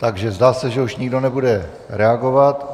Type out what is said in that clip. Takže zdá se, že už nikdo nebude reagovat.